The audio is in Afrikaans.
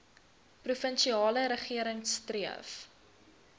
provinsiale regering streef